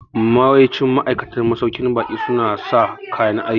Yawancin ma'aikatan masauƙin baƙi su na sa kayan aiki